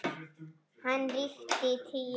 Hann ríkti í tíu ár.